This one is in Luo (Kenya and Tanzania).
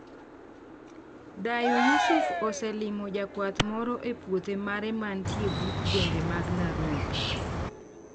Dayo Yusuf oselimo jakwath moro e puothe mare mantie but gwenge mag Nairobi.